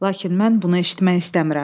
Lakin mən bunu eşitmək istəmirəm.